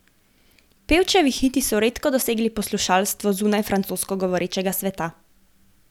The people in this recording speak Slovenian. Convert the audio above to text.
Pevčevi hiti so redko dosegli poslušalstvo zunaj francosko govorečega sveta.